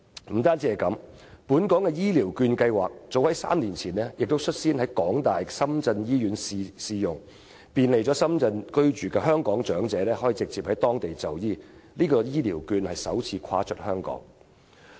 不僅如此，本港的醫療券計劃早在3年前便率先在香港大學深圳醫院試用，便利在深圳居住的香港長者直接在當地就醫，這是醫療券首次"跨出"香港。